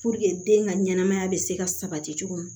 den ka ɲɛnɛmaya bɛ se ka sabati cogo min